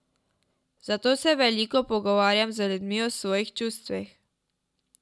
Zato se veliko pogovarjam z ljudmi o svojih čustvih.